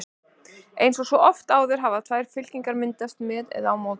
Eins og svo oft áður hafa tvær fylkingar myndast: með eða á móti.